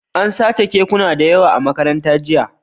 An sace kekuna da yawa a Makarantar jiya